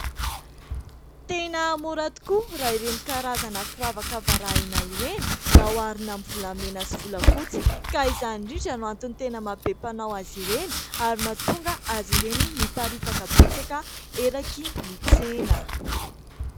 Tena mora tokoa raha ireny karazana firavaka varahina ireny raha oharina amin'ny volamena sy volafotsy ka izany indrindra no antony tena maha be mpanao azy ireny ary mahatonga azy ireny miparitaka betsaka eraky ny tsena.